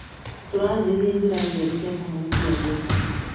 Tũrarĩrĩria njĩra njerũ cia kũhonokia mbeca.